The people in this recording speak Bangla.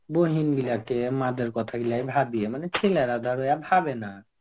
বহিন গুলা কে মা দের কথাগুলা আমি ভাবি আমরা ছেলেরা ভাবে না.